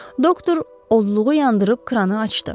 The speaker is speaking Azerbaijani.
Doktor odluğu yandırıb kranı açdı.